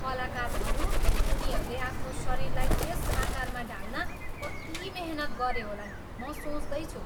कलाकारहरू, उनीहरूले आफ्नो शरीरलाई त्यस आकारमा ढाल्न कति मेहनत गरे होलान्, म सोच्दैछु।